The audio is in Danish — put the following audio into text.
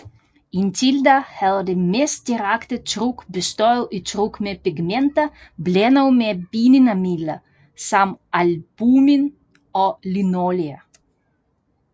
Indtil da havde det mest direkte tryk bestået i tryk med pigmenter blandet med bindemidler som albumin eller linolie